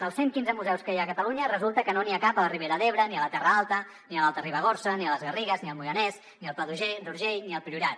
dels cent i quinze museus que hi ha a catalunya resulta que no n’hi ha cap a la ribera d’ebre ni a la terra alta ni a l’alta ribagorça ni a les garrigues ni al moianès ni al pla d’urgell ni al priorat